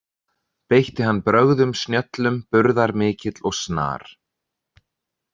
Beitti hann brögðum snjöllum burðamikill og snar.